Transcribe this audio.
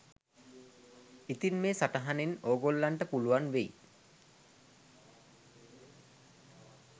ඉතින් මේ සටහනෙන් ඕගොල්ලන්ට පුලුවන් වෙයි